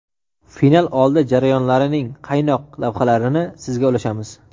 final oldi jarayonlarning qaynoq lavhalarini sizga ulashamiz!.